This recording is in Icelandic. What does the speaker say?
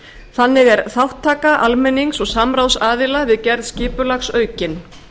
þannig er þátttaka almennings og samráðsaðila við gerð skipulags aukin